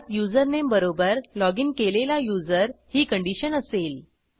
ज्यात युजरनेम बरोबर लॉगिन केलेला युजर ही कंडिशन असेल